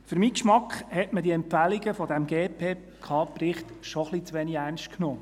Für meinen Geschmack hat man die Empfehlungen dieses GPK-Berichts schon etwas zu wenig ernst genommen.